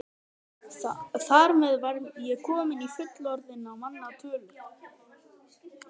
Þar með var ég komin í fullorðinna manna tölu.